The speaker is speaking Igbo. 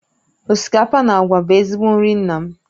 Osikapa na àgwà bụ ezigbo nri nna m